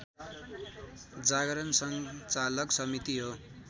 जागरण सञ्चालक समिति हो